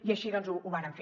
i així doncs ho vàrem fer